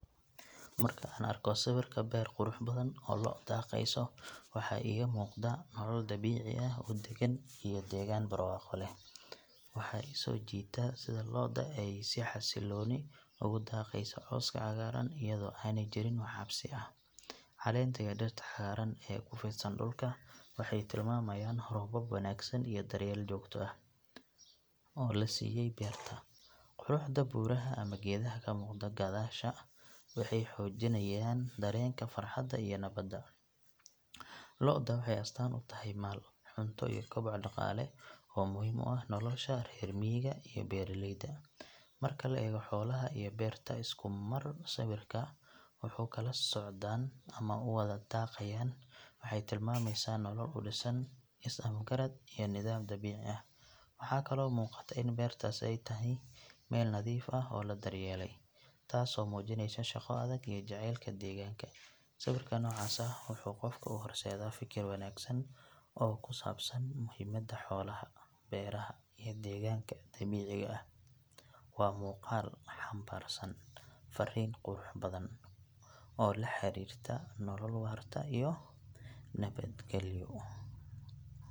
Marka aan arko sawir beer qurux badan oo lo’ daaqayso waxaa iiga muuqda nolol dabiici ah oo degan iyo degaan barwaaqo leh. Waxa i soo jiita sida lo’da ay si xasiloon ugu daaqayso cawska cagaaran iyadoo aanay jirin wax cabsi ah. Caleenta iyo dhirta cagaaran ee ku fidsan dhulka waxay tilmaamayaan roobab wanaagsan iyo daryeel joogto ah oo la siiyay beerta. Quruxda buuraha ama geedaha ka muuqda gadaasha waxay xoojinayaan dareenka farxadda iyo nabadda. Lo’da waxay astaan u tahay maal, cunto iyo koboc dhaqaale oo muhiim u ah nolosha reer miyiga iyo beeraleyda. Marka la eego xoolaha iyo beerta isku mar sawirka wuxuu xambaarsan yahay farriin ah isku filnaansho iyo barwaaqo. Dabeecadda lo’da oo ah kuwo degan iyo sida ay u kala socdaan ama u wada daaqayaan waxay tilmaamaysaa nolol u dhisan is afgarad iyo nidaam dabiici ah. Waxaa kaloo muuqata in beertaas ay tahay meel nadiif ah oo la daryeelay, taasoo muujinaysa shaqo adag iyo jacaylka deegaanka. Sawirka noocaas ah wuxuu qofka u horseedaa fikir wanaagsan oo ku saabsan muhiimadda xoolaha, beeraha iyo deegaanka dabiiciga ah. Waa muuqaal xambaarsan farriin qurux badan oo la xiriirta nolol waarta iyo nabadgelyo.